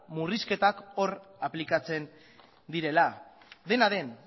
murrizketak hor aplikatzen direla dena den